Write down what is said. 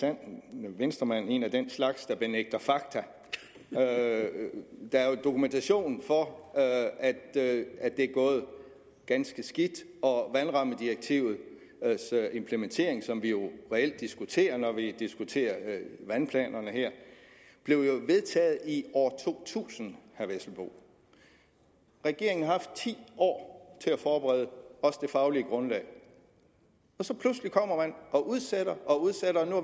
sand venstremand en af den slags der benægter fakta der er jo dokumentation for at det er gået ganske skidt og vandrammedirektivets implementering som vi reelt diskuterer når vi diskuterer vandplanerne her blev jo vedtaget i år to tusind regeringen har haft ti år til at forberede også det faglige grundlag og så pludselig kommer man og udsætter